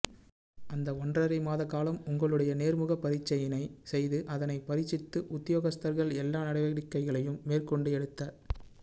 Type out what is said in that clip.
அந்த ஒன்றரை மாத காலம் உங்களுடைய நேர்முகப் பரீட்சையினை செய்து அதனை பரீட்சித்து உத்தியோகஸ்தர்கள் எல்லா நடவடிக்கைகளையும் மேற்கொண்டு எடுத்த